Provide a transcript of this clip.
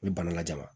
U bɛ bana lajama